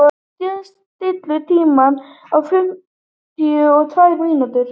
Indí, stilltu tímamælinn á fimmtíu og tvær mínútur.